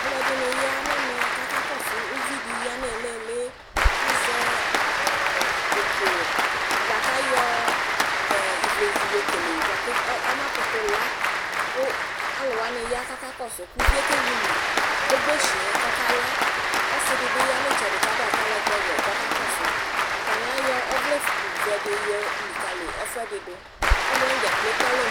Alʋɛdɩnɩ ya n'ɛmɛ k'aka kɔsʋ uvidi ya n'iiliili k'azɛ ukʋ bʋa k'ayɔ iwlezi yokele bʋa kamakʋtʋ la, kʋ alʋwani ya k'aka kɔsʋ, k'uvi yɛ kewili gboshi yɛ k'ɔka la Ɔsɩ dɩ bɩ ya n'ɩtsɛdɩ k'adʋ atalɛgbɛ wɛ k'ɔka kɔsʋ Atanɩ ɔvlɛ f, vɛdɩ yolikali ɛfʋɛdɩ dʋ Alʋwanɩ dzaa kpe ekple alɔ